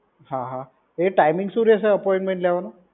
હા હા, એ ટાઈમિંગ શું રહેશે અપોઇંન્ટમેન્ટ લેવાનો?